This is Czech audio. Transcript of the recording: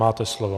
Máte slovo.